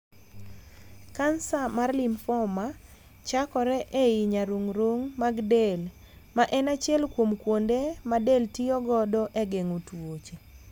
Kansa mar 'lymphoma' chakore ei nyarung'rung mag del, ma en achiel kuom kuonde ma del tiyo godo e geng'o tuoche.